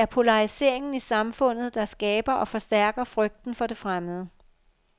Det er polariseringen i samfundet, der skaber og forstærker frygten for det fremmede.